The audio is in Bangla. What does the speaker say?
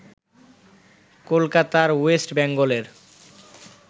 কলকাতার ওয়েস্ট বেঙ্গলের